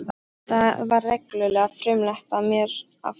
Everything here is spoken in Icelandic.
Það var reglulega frumlegt af mér að fara hingað.